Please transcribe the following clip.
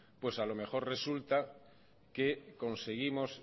pues a lo mejor resulta que conseguimos